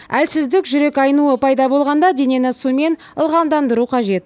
әлсіздік жүрек айнуы пайда болғанда денені сумен ылғалдандыру қажет